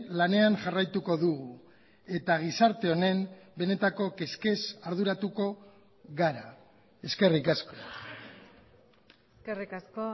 lanean jarraituko dugu eta gizarte honen benetako kezkez arduratuko gara eskerrik asko eskerrik asko